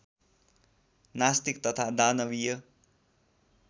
नास्तिक तथा दानविय